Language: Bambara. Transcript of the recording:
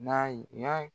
N'a yi